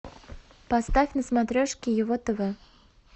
поставь на смотрешке его тв